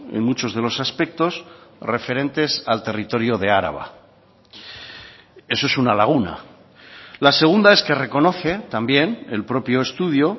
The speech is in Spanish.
en muchos de los aspectos referentes al territorio de araba eso es una laguna la segunda es que reconoce también el propio estudio